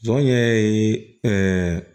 Jɔn ɲɛ ye